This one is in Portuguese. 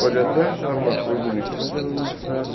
Pode até achar uma flor bonita, mas ela não sabe